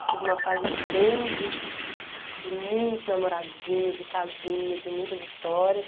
Eu tive uma fase bem de de de muitos namoradinhos e casinhos e muitas histórias.